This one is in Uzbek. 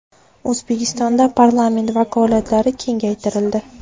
O‘zbekistonda parlament vakolatlari kengaytirildi.